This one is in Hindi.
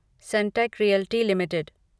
Sunteck realty limited